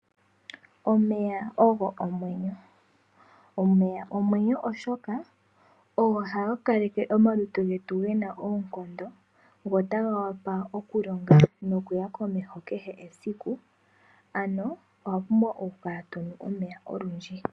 Omeya ogo omwenyo , oshoka ogo haga kaleke omalutu getu gena oonkondo taga vuku okulonga nokuya komeho kehe esiku. Owapumbwa okukala tonu omeya okundji.